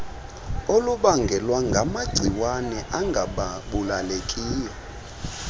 olubangelwa ngamagciwane angabulalekileyo